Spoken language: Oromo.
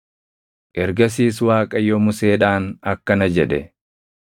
Ergasiis Waaqayyo Museedhaan akkana jedhe;